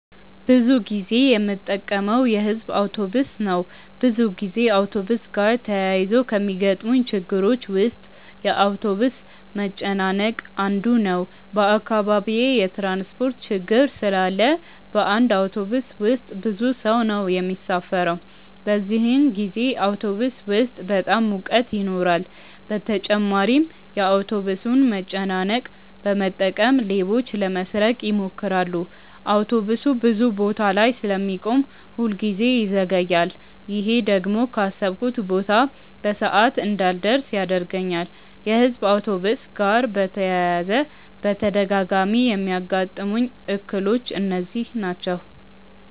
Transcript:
ብዙ ጊዜ የምጠቀመው የሕዝብ አውቶብስ ነው። ብዙ ጊዜ አውቶብስ ጋር ተያይዞ ከሚገጥሙኝ ችግሮች ውስጥ የአውቶብስ መጨናነቅ አንዱ ነው። በአካባቢዬ የትራንስፖርት ችግር ስላለ በአንድ አውቶብስ ውስጥ ብዙ ሰው ነው የሚሳፈረው። በዚህን ጊዜ አውቶብስ ውስጥ በጣም ሙቀት ይኖራል በተጨማሪም የአውቶብሱን መጨናነቅ በመጠቀም ሌቦች ለመስረቅ ይሞክራሉ። አውቶብሱ ብዙ ቦታ ላይ ስለሚቆም ሁል ጊዜ ይዘገያል። ይሄ ደግሞ ካሰብኩበት ቦታ በሰዓት እንዳልደርስ ያደርገኛል። የሕዝብ አውቶብስ ጋር በተያያዘ በተደጋጋሚ የሚያጋጥሙኝ እክሎች እነዚህ ናቸው።